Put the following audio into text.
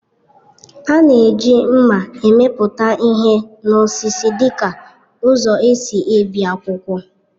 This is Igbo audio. A na-eji mma emepụta ihe n'osisi dịka ụzọ e si ebi akwụkwọ